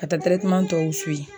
Ka taa tɛrɛteman tɔw siwi